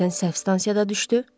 Birdən səhv stansiyada düşdü.